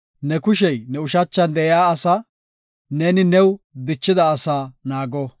Ne kushey ne ushachan de7iya asaa, neeni new dichida asaa naago.